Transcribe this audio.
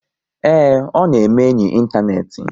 Ee, ọ na-eme enyi ịntanetị